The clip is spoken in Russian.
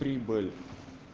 прибыль